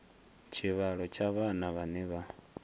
tshivhalo tsha vhana vhane vha